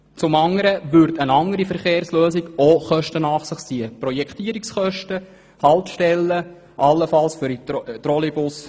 Zum anderen würde eine alternative Verkehrslösung ebenfalls Kosten nach sich ziehen: Projektierungskosten, Kosten für Haltestellen, allenfalls Leitungen für den Trolley-Bus.